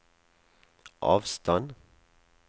avstand